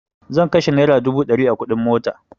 Zan kashe naira dubu ɗari a kuɗin mota